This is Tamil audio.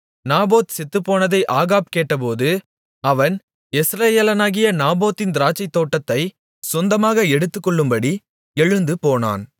நாபோத் செத்துப்போனதை ஆகாப் கேட்டபோது அவன் யெஸ்ரயேலனாகிய நாபோத்தின் திராட்சைத்தோட்டத்தைச் சொந்தமாக எடுத்துக்கொள்ளும்படி எழுந்து போனான்